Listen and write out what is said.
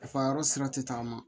Nafa yɔrɔ sira tɛ tagama